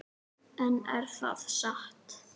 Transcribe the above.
En er það satt?